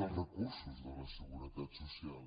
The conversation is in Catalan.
dels recursos de la seguretat social